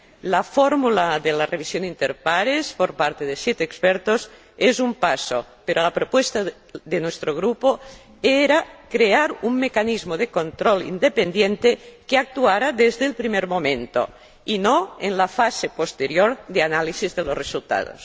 La fórmula de la revisión inter pares, por parte de siete expertos, es un paso, pero la propuesta de nuestro Grupo era crear un mecanismo de control independiente que actuara desde el primer momento, y no en la fase posterior de análisis de los resultados.